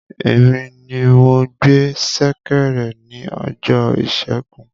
Èmi ní mo gbé ṣẹ̀kẹ̀rẹ̀ ní ọjọ ìsẹ́gun